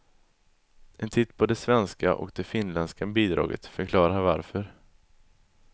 En titt på det svenska och det finländska bidraget förklarar varför.